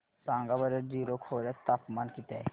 सांगा बरं जीरो खोर्यात तापमान किती आहे